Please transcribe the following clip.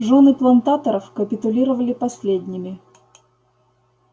жёны плантаторов капитулировали последними